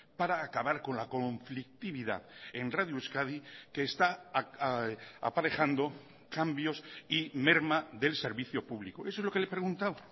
para acabar con la conflictividad en radio euskadi que está aparejando cambios y merma del servicio público eso es lo que le he preguntado